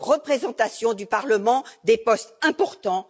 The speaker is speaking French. représentations du Parlement, des postes importants.